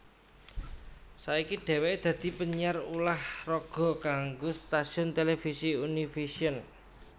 Saiki dheweke dadi penyiar ulah raga kanggo stasiun televisi Univision